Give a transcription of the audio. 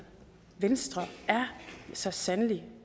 venstre så sandelig